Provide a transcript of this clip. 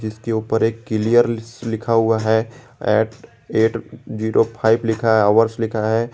जिसके ऊपर एक क्लियर लिखा हुआ है एट येट जीरो फाइव लिखा है हावर्स लिखा है।